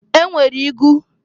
E nwere igu.